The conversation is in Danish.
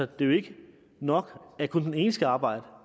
det er jo ikke nok at kun den ene skal arbejde